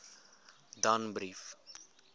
danbrief